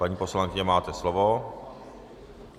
Paní poslankyně, máte slovo.